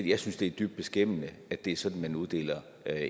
jeg synes det er dybt beskæmmende at det er sådan man uddeler